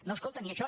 no escolten ni això